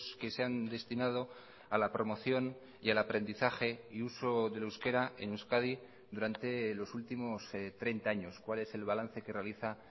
que se han destinado a la promoción y al aprendizaje y uso del euskera en euskadi durante los últimos treinta años cuál es el balance que realiza